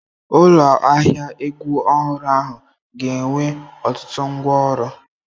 Ụlọ ahịa egwu ọhụrụ ahụ ga-enwe ọtụtụ ngwá ọrụ.